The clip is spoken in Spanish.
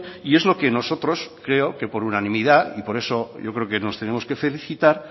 y es lo que nosotros creo que por unanimidad y por eso yo creo que nos tenemos que felicitar